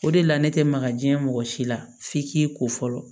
O de la ne tɛ maka jiɲɛ mɔgɔ si la f'i k'i ko fɔlɔ